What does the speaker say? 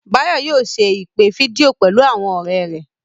Báyọ̀ yóò ṣe ìpè fídíò pẹ̀lú àwọn ọ̀rẹ́ rẹ̀